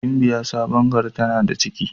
Gimbiya Sabon gari tana da ciki.